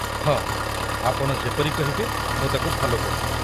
ହଁ, ଆପଣ ଯେପରି କହିବେ ମୁଁ ତା'କୁ ଫଲୋ କରିବି।